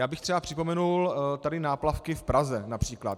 Já bych třeba připomenul tady náplavky v Praze, například.